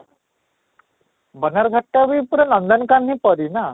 ବନରଘାଟ ଟା ବି ପୁରା ନନ୍ଦନକାନନ ପରି ନା?